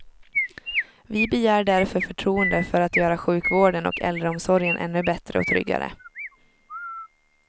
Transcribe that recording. Vi begär därför förtroende för att göra sjukvården och äldreomsorgen ännu bättre och tryggare.